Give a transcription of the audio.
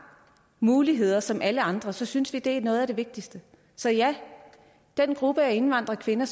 muligheder som alle andre så synes vi det er noget af det vigtigste så ja den gruppe af indvandrerkvinder